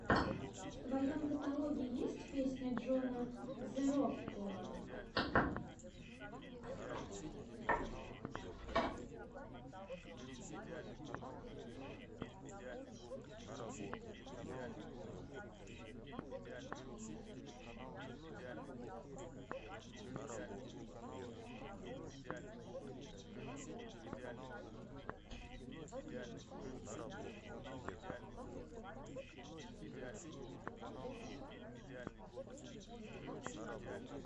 в твоем каталоге есть песня джона зэрокула